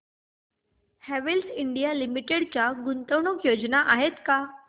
Havells India limited च्या गुंतवणूक योजना आहेत का